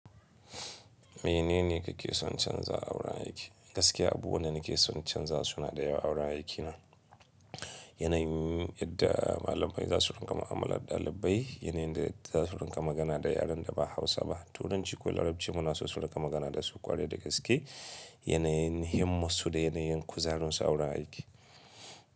Menene kake son canzawa a wurin aiki? Gaskiya abubuwan da nake sonna canza suna da yawa awurin aikina. Yanayin yadda malaman zasu riƙa mu'amalar ɗalibai, yanayin da za su riƙa magana da yaren da ba Hausa ba. Turanci ko Larabci muna so su riƙa magana da su ƙwarai da gaske. Yanayin himmassu da yanayin kuzarinsu awurin haiki.